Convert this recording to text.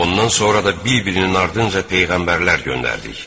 Ondan sonra da bir-birinin ardınca peyğəmbərlər göndərdik.